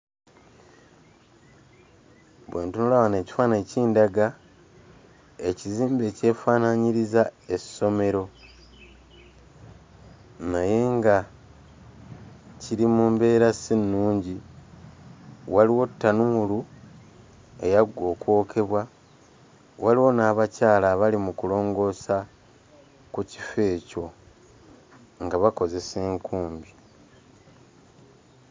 Bwe ntunula wano ekifaananyi kindaga ekizimbe ekyefaanaanyiriza essomero naye nga kiri mu mbeera si nnungi waliwo ttanuulu eyaggwa okwokebwa waliwo n'abakyala abali mu kulongoosa ku kifo ekyo nga bakozesa enkumbi.